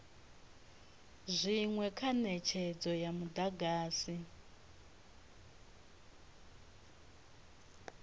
zwinwe kha netshedzo ya mudagasi